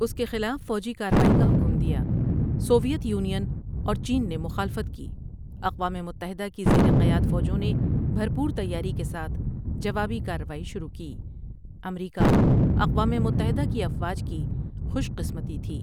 اُس کے خلاف فوجی کاروائى کا حکم دیا سوویت یونین اور چین نے مخالفت کی اقوام متحدہ کی زیرِ قیاد فوجوں نے بھرپور تیاری کے ساتھ جوابی کاروائی شروع کی امریکا اقوام متحدہ کی افواج کی خوش قِسمتی تھی ۔